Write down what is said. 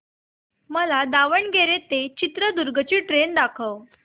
मला दावणगेरे ते चित्रदुर्ग ची ट्रेन दाखव